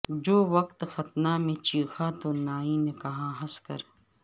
جو وقت ختنہ میں چیخا تو نائی نے کہا ہنس کر